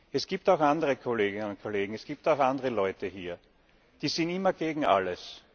Es gibt auch andere Kolleginnen und Kollegen, es gibt auch andere Leute hier, die sind immer gegen alles.